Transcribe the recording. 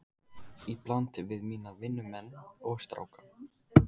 Í bland við mína vinnumenn og stráka.